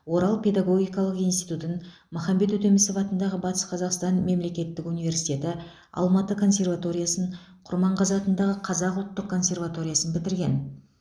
орал педагогикалық институтын махамбет өтемісов атындағы батыс қазақстан мемлекеттік университеті алматы консерваториясын құрманғазы атындағы қазақ ұлттық консерваториясын бітірген